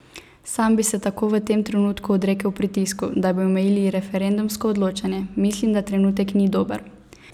Sam bi se tako v tem trenutku odrekel pritisku, da bi omejili referendumsko odločanje: 'Mislim, da trenutek ni dober.